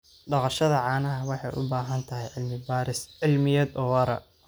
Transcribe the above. Dhaqashada caanaha waxay u baahan tahay cilmi-baaris cilmiyeed oo waara.